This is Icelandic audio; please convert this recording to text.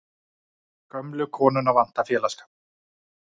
Gömlu konuna vantar félagsskap.